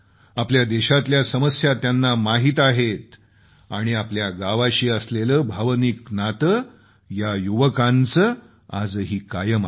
आपल्या देशातल्या समस्या त्यांना माहीत आहेत आणि आपल्या गावाशी असलेलं भावनिक नातं या युवकांचं आजही कायम आहे